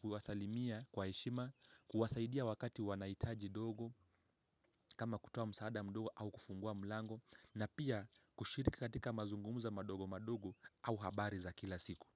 kuwasalimia kwa heshima, kuwasaidia wakati wanahitaji ndogo kama kutoa msaada mdogo au kufungua mlango na pia kushiriki katika mazungumzo madogo madogo au habari za kila siku.